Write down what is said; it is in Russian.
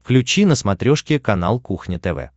включи на смотрешке канал кухня тв